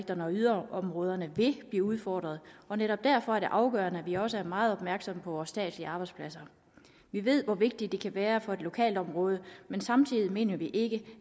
yderområderne vil blive udfordret og netop derfor er det afgørende at vi også er meget opmærksomme på vores statslige arbejdspladser vi ved hvor vigtigt det kan være for et lokalområde men samtidig mener vi ikke